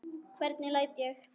Hvernig læt ég!